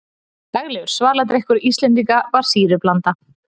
Daglegur svaladrykkur Íslendinga var sýrublanda.